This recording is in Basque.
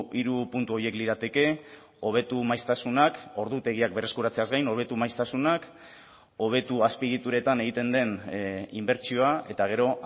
hiru puntu horiek lirateke hobetu maiztasunak ordutegiak berreskuratzeaz gain hobetu maiztasunak hobetu azpiegituretan egiten den inbertsioa eta gero